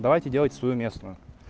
давайте делайте свою местную